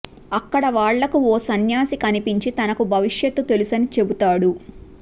అక్కడ వాళ్లకు ఓ సన్యాసి కనిపించి తనకు భవిష్యత్తు తెలుసనీ చెబుతాడు